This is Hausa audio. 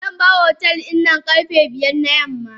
Zanbar otel dinnan karfe biyar na yamma.